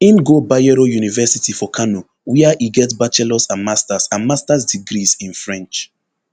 im go bayero university for kano wia e get bachelors and masters and masters degrees in french